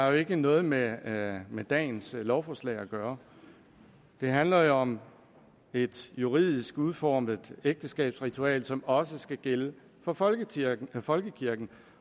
har jo ikke noget med med dagens lovforslag at gøre det handler jo om et juridisk udformet ægteskabsritual som også skal gælde for folkekirken folkekirken